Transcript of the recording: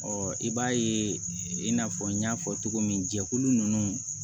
Ɔ i b'a ye i n'a fɔ n y'a fɔ cogo min jɛkulu nunnu